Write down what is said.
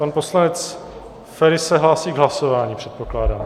Pan poslanec Feri se hlásí k hlasování, předpokládám.